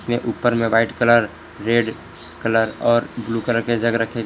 में ऊपर में वाइट कलर रेड कलर और ब्लू कलर के जग रखें--